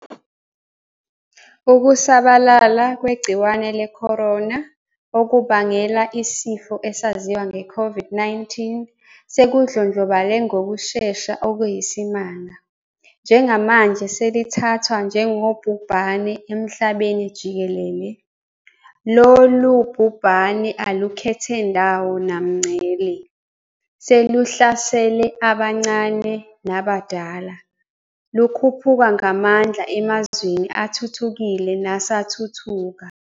Ukusabalala kwegciwane le-corona, okubangela isifo esaziwa nge-COVID-19, sekudlondlobale ngokushesha okuyisimanga, njengamanje selithathwa njengobhubhane emhlabenijikelele. Lolu bhubhane alukhethe ndawo namngcele, seluhlasele abancane nabadala, lukhuphuka ngamandla emazweni athuthukile nasathuthuka.